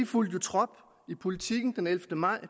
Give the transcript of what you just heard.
fulgte jo trop i politiken den ellevte maj